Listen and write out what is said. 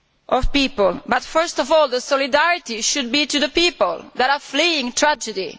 of people, but first of all our solidarity should be with the people who are fleeing tragedy.